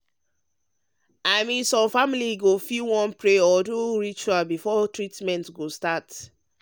i mean some families fit wan pray or do do rituals before treatment go start.